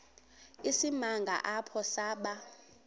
isimanga apho saba